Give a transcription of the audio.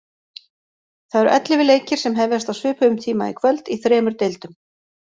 Það eru ellefu leikir sem hefjast á svipuðum tíma í kvöld í þremur deildum.